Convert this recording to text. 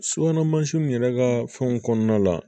Subahana mansinw yɛrɛ ka fɛnw kɔnɔna la